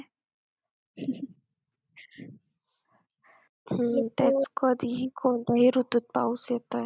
कधीही कोणत्याही ऋतुत पाऊस येतोय.